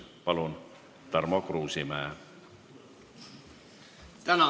Palun, Tarmo Kruusimäe!